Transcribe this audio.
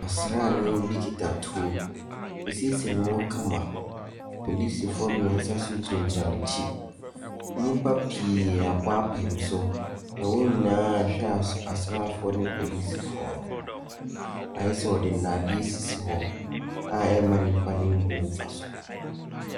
Ɔsranii bi kita tuo. W'asiesie ne ho kama. Polisifoɔ mmiɛnsa nso gyinagyina n'akyi. Nnipa pii abɔ apem so na wɔn nyinaa hwɛ asraafoɔ ne polisifoɔ no. Ayɛ sɛ wɔde nnadeɛ asi hɔ,a ɛmma nipa no mbu mfa so.